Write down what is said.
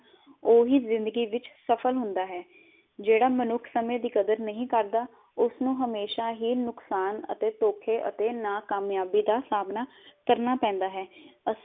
ਉਹੀ ਜਿੰਦਗੀ ਵਿਚ ਸਫਲ ਹੁੰਦਾ ਹੈ, ਜਿਹੜਾ ਮਨੁਖ ਸਮੇ ਦੀ ਕਦਰ ਨਹੀ ਕਰਦਾ ਉਸ ਨੂੰ ਹਮੇਸ਼ਾ ਹੀ ਨੁਕਸਾਨ ਅਤੇ ਧੋਖੇ ਅਤੇ ਨਾਕਾਯਾਬੀ ਦਾ ਸਾਮਨਾ ਕਰਨਾ ਪੇੰਦਾ ਹੈ। ਅਸੀਂ